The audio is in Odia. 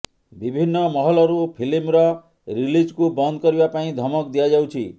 ବିଭିନ୍ନ ମହଲରୁ ଫିଲ୍ମର ରିଲିଜ୍କୁ ବନ୍ଦ କରିବା ପାଇଁ ଧମକ ଦିଆଯାଉଛି